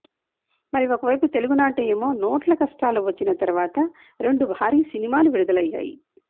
మరి ఒకవైపు తెలుగు నాట ఏమో నోట్ల కష్టాలు వచ్చిన తర్వాత రెండు భారీ సినిమాలు విడుదల అయ్యాయి